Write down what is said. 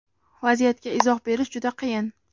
Vaziyatga izoh berish juda qiyin.